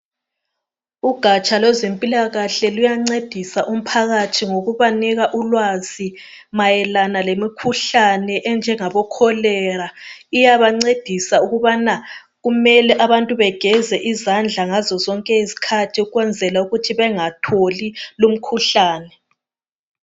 Ugatsha lwezempilakahle luyancedisa umphakathi ngokuba nika ulwazi mayelana lemikhuhlane enjengabo cholera. Iyabancedisa ukubana kumele abantu begeze izandla ngazozonke izikhathi ukwenzela ukuthi bengatholi lumkhuhlane.